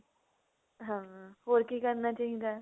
ਹੋਰ ਕੀ ਕਰਨਾ ਚਾਹਿਦਾ